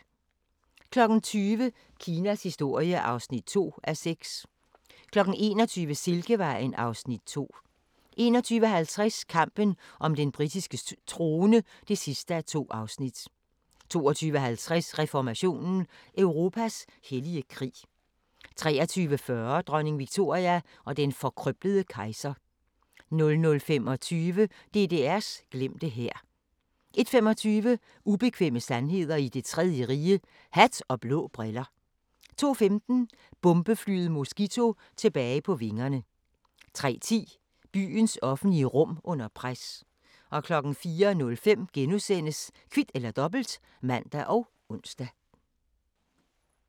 20:00: Kinas historie (2:6) 21:00: Silkevejen (Afs. 2) 21:50: Kampen om den britiske trone (2:2) 22:50: Reformationen – Europas hellige krig 23:40: Dronning Victoria og den forkrøblede kejser 00:25: DDR's glemte hær 01:25: Ubekvemme sandheder i Det Tredje Rige – hat og blå briller 02:15: Bombeflyet Mosquito tilbage på vingerne 03:10: Byens offentlige rum under pres 04:05: Kvit eller Dobbelt *(man og ons)